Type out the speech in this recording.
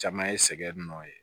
Caman ye sɛgɛn nɔ ye